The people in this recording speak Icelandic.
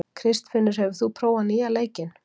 Kristfinnur, hefur þú prófað nýja leikinn?